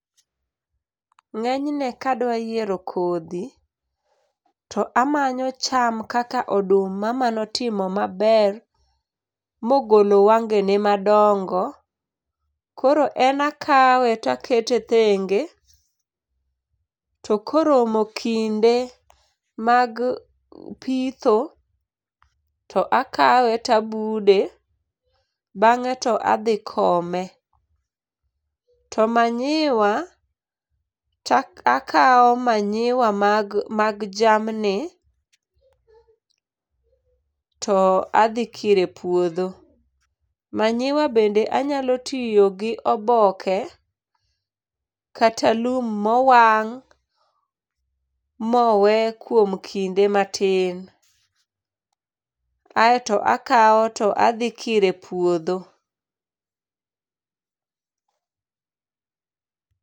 Ng'enyne kadwa yiero kodhi, to amanyo cham kaka oduma manotimo maber, mogolo wangene madongo, koro en akawe takete thenge, to koromo kinde mag pitho, to akawe tabude bang'e to adhi kome. To manyiwa takawo wanyiwa mag mag jamni to adhi kiro epuodhgo. Manyiwa bende anyalo tiyo gi oboke kata lum mowang' mowe kuom kinde matin. Ka to akawo to adhi kiro e puodho.